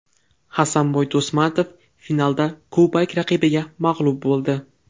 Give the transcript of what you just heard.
Hasanboy Do‘stmatov finalda kubalik raqibiga mag‘lub bo‘ldi.